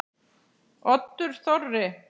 Oddur Þorri.